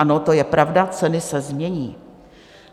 Ano, to je pravda, ceny se změní.